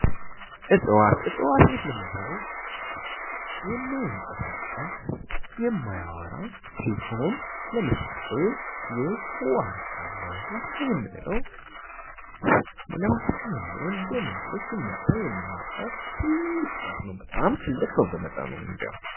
ዕፅዋት ዕፅዋት የምንለው የማይንቀሳቀስ የማያወራ ሲሆን ለምሳሌ ዋርካ አለ ዋርካ የምንለው ለማስቲካ የሚሆን ደም ያለው ሲመታ ደም የሚያወጣ ትልቅ ዛፍ ነው በጣም ትልቅ ነው በመጠኑም ቢሆን